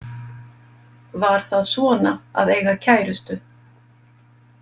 Var það svona að eiga kærustu?